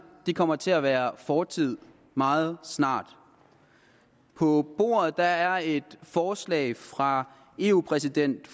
kommer til at være fortid meget snart på bordet er et forslag fra eu præsident